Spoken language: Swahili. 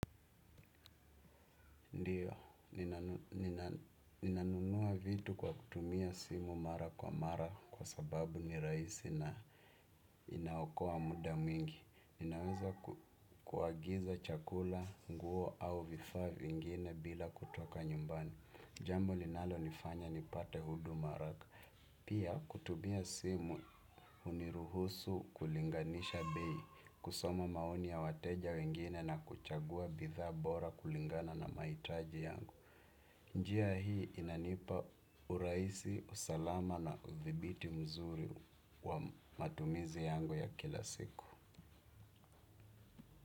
Ndiyo, ninanunua vitu kwa kutumia simu mara kwa mara kwa sababu ni rahisi na inaokoa muda mwingi. Ninaweza kuagiza chakula, nguo au vifaa vingine bila kutoka nyumbani. Jambo linalonifanya nipate huduma haraka. Pia kutumia simu huniruhusu kulinganisha bei, kusoma maoni ya wateja wengine na kuchagua bidhaa bora kulingana na mahitaji yangu. Njia hii inanipa urahisi, usalama na uthibiti mzuri wa matumizi yangu ya kila siku.